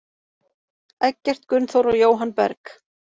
Eggert Gunnþór og Jóhann Berg.